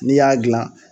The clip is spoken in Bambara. N'i y'a dilan